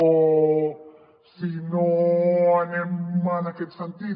o si no anem en aquest sentit